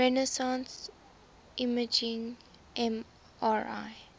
resonance imaging mri